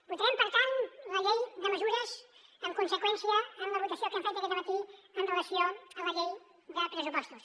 votarem per tant la llei de mesures en conseqüència amb la votació que hem fet aquest dematí en relació amb la llei de pressupostos